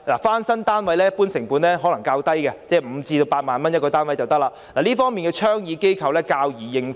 翻新單位一般成本較低 ，1 個單位約需5萬元至8萬元，這方面倡議機構較易應付。